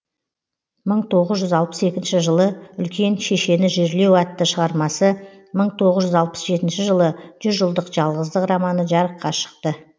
мың тоғыз жүз алпыс екінші жылы үлкен шешені жерлеу атты шығармасы мың тоғыз жүз алпыс жетінші жылы жүз жылдық жалғыздық романы жарыққа шықты